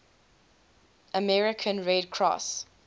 american red cross